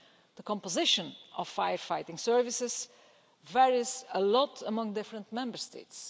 The composition of firefighting services varies greatly among different Member States.